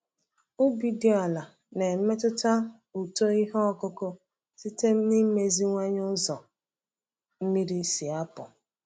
Ubi dị ala na-emetụta uto ihe ọkụkụ site n’ịmeziwanye ụzọ mmiri si apụ.